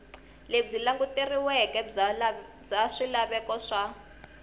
lebyi languteriweke bya swilaveko swa